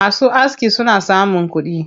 Masu aski suna samun kuɗi.